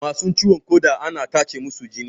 Masu ciwon ƙoda ana tacemusu jini